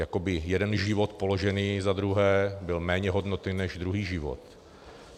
Jako by jeden život položený za druhé byl méně hodnotný než druhý život.